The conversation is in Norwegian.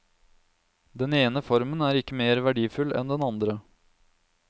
Den ene formen er ikke mer verdifull enn den andre.